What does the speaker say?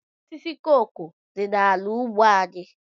Osisi koko dị n'ala ugbo anyị.